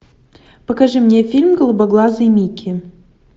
покажи мне фильм голубоглазый микки